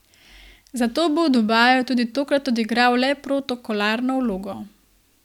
Zato bo v Dubaju tudi tokrat odigral le protokolarno vlogo.